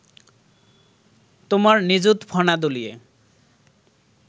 তোমার নিযুত ফণা দুলিয়ে